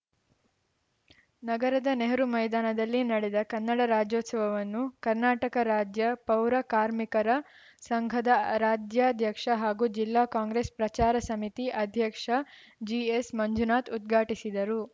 ನಗರದ ನೆಹರು ಮೈದಾನದಲ್ಲಿ ನಡೆದ ಕನ್ನಡ ರಾಜ್ಯೋತ್ಸವವನ್ನು ಕರ್ನಾಟಕ ರಾಜ್ಯ ಪೌರ ಕಾರ್ಮಿಕರ ಸಂಘದ ರಾಜ್ಯಾಧ್ಯಕ್ಷ ಹಾಗೂ ಜಿಲ್ಲಾ ಕಾಂಗ್ರೆಸ್‌ ಪ್ರಚಾರ ಸಮಿತಿ ಅಧ್ಯಕ್ಷ ಜಿಎಸ್‌ಮಂಜುನಾಥ್‌ ಉದ್ಘಾಟಿಸಿದರು